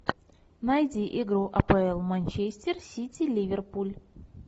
найди игру апл манчестер сити ливерпуль